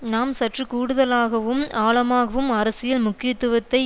நாம் சற்று கூடுதலாகவும் ஆழமாகவும் அரசியல் முக்கியத்துவத்தை